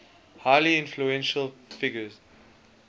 highly influential figure